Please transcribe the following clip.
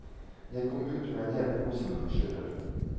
Jeg kom ut med en hel pose med brosjyrer.